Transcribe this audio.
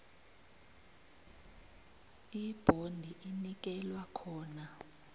ibhondi inikelwa khona